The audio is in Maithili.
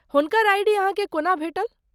हुनकर आइ.डी. अहाँके कोना भेटल?